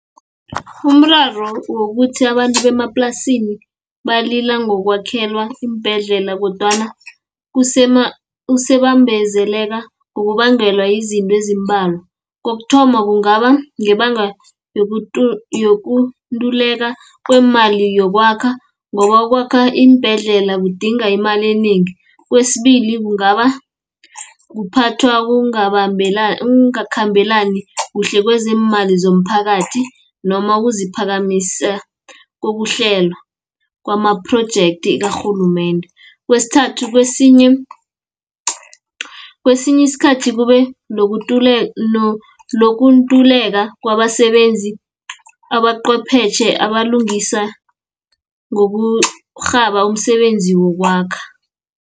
Umraro wokuthi abantu bemaplasini, balila ngokwakhelwa iimbhedlela, kodwana kubambezeleka ngokubangelwa yizinto ezimbalwa. Kokuthoma kungaba ngebanga yokunduleka kwemali yokwakha, ngoba ukwakha iimbhedlela kudinga imali enengi. Kwesibili kungaba kuphathwa kokungakhambelani kuhle kwezeemali zomphakathi, noma ukuziphakamisa kokuhlelwa, kwamaprojekthi karhulumende. Kwesithathu, kwesinye isikhathi kube nokuntuleka kwabasebenzi abaqwepheshe abalungisa ngokurhaba umsebenzi wokwakha.